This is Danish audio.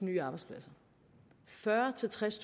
nye arbejdspladser fyrre til tres